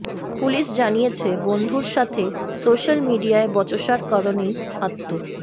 police জানিয়েছে বন্ধুর সাথে সোশাল মিডিয়ায় বচসার কারনেই আত্ম